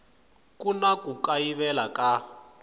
ku na ku kayivela ka